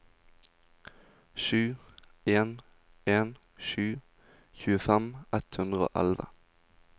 sju en en sju tjuefem ett hundre og elleve